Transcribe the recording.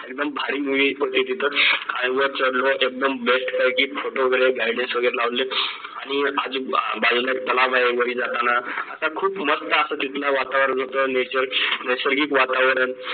एकदम भारी होते तिथं एकदम best पैकी photo वगैरे वगैरे लावलेत आणि बाजूला एक तलाव वरी जातांना असा खूप मस्त असं तिथलं वातावरण होतं nature नैसर्गिक वातावरण